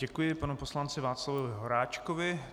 Děkuji panu poslanci Václavu Horáčkovi.